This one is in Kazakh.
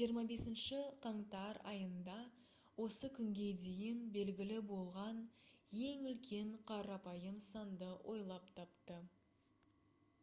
25 қаңтар айында осы күнге дейін белгілі болған ең үлкен қарапайым санды ойлап тапты